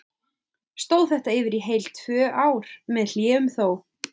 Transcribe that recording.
Stóð þetta yfir í heil tvö ár, með hléum þó.